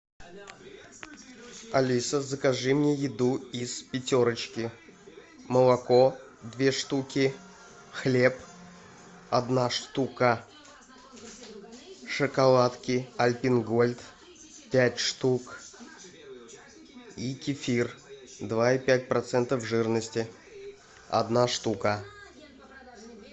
алиса закажи мне еду из пятерочки молоко две штуки хлеб одна штука шоколадки альпен гольд пять штук и кефир два и пять процентов жирности одна штука